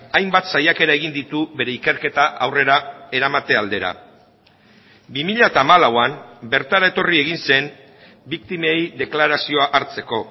hainbat saiakera egin ditu bere ikerketa aurrera eramate aldera bi mila hamalauan bertara etorri egin zen biktimei deklarazioa hartzeko